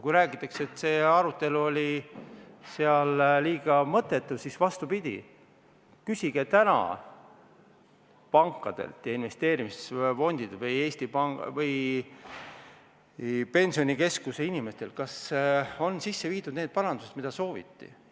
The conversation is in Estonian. Kui räägitakse, et see arutelu oli liiga mõttetu, siis küsige pankadelt ja investeerimisfondidelt või Pensionikeskuse inimestelt, kas on sisse viidud need parandused, mida sooviti.